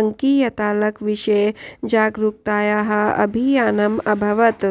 अङ्कीयतालकविषये जागरूकतायाः अभियानम् अभवत्